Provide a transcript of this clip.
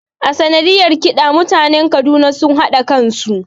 A sanadiyar ƙida mutanen Kaduna sun hada kansu